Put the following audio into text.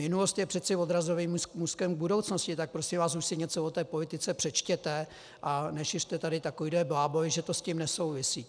Minulost je přece odrazovým můstkem k budoucnosti, tak prosím vás už si něco o té politice přečtěte a nešiřte tady takovéhle bláboly, že to s tím nesouvisí.